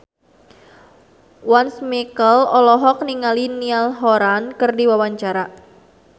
Once Mekel olohok ningali Niall Horran keur diwawancara